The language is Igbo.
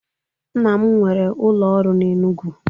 Nna m nwere ụlọ ọrụ n'Enugwu.